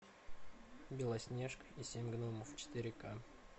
белоснежка и семь гномов четыре ка